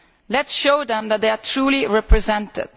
Let us show them that they are truly represented.